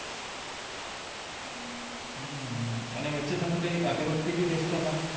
અને વચ્ચે તમે કાય અગરબત્તી ભી વેંચતા તા